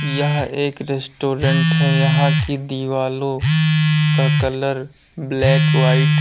यह एक रेस्टोरेंट है यहां की दीवालो का कलर ब्लैक व्हाइट --